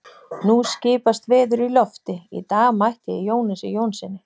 Nú skipast veður í lofti: Í dag mætti ég Jónasi Jónssyni